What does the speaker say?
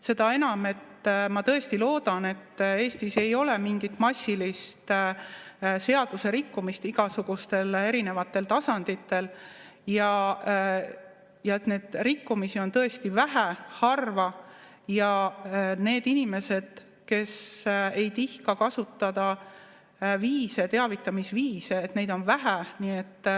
Seda enam, et ma tõesti loodan, et Eestis ei ole mingit massilist seadusrikkumist igasugustel erinevatel tasanditel, neid rikkumisi on tõesti vähe, harva, ja et neid inimesi, kes ei tihka kasutada teavitamisviise, on vähe.